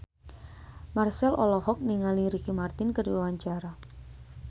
Marchell olohok ningali Ricky Martin keur diwawancara